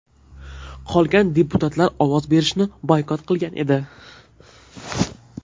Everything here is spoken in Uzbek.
Qolgan deputatlar ovoz berishni boykot qilgan edi.